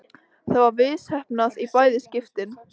Það var misheppnað í bæði skiptin.